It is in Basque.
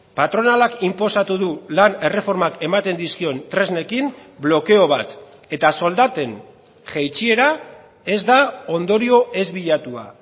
patronalak inposatu du lan erreformak ematen dizkion tresnekin blokeo bat eta soldaten jaitsiera ez da ondorio ez bilatua